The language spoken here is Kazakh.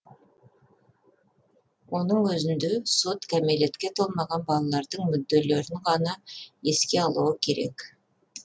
соның өзінде сот кәмелетке толмаған балалардың мүдделерін ғана еске алуы керек